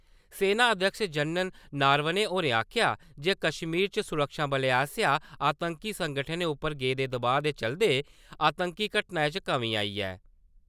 सेना अध्यक्ष जनरल नारवणे होरें आखेआ जे कश्मीर च सुरक्षाबलें आसेआ आतंकी संगठनें उप्पर बनाए गेदे दबाऽ दे चलदे , आतंकी घटनाएं च कमी आई ऐ ।